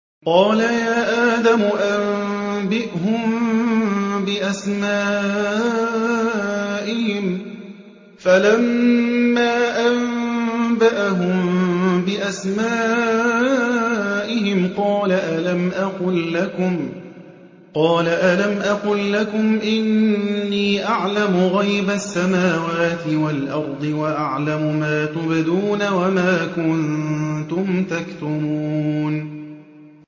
قَالَ يَا آدَمُ أَنبِئْهُم بِأَسْمَائِهِمْ ۖ فَلَمَّا أَنبَأَهُم بِأَسْمَائِهِمْ قَالَ أَلَمْ أَقُل لَّكُمْ إِنِّي أَعْلَمُ غَيْبَ السَّمَاوَاتِ وَالْأَرْضِ وَأَعْلَمُ مَا تُبْدُونَ وَمَا كُنتُمْ تَكْتُمُونَ